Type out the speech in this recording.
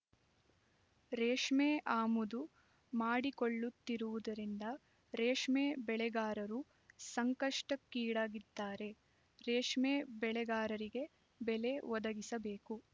ರೇಷ್ಮೆ ಆಮದು ಮಾಡಿಕೊಳ್ಳುತ್ತಿರುವುದರಿಂದ ರೇಷ್ಮೆ ಬೆಳೆಗಾರರು ಸಂಕಷ್ಟಕ್ಕೀಡಾಗಿದ್ದಾರೆ ರೇಷ್ಮೆ ಬೆಳೆಗಾರರಿಗೆ ಬೆಲೆ ಒದಗಿಸಬೇಕು